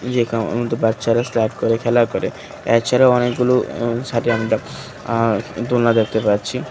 যেখানে অনন্ত বাচ্চারা স্ট্রাট করে খেলা করে এছাড়াও অনেকগুলো উ সাইডে আ দোলনা দেখতে পাচ্ছি।